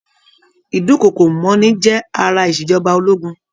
Ìdúnkokò mọ́ni jẹ́ ara ìṣèjọba ológun.